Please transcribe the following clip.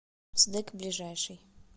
сдэк ближайший